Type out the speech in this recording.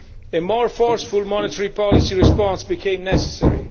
A more forceful monetary policy response became necessary.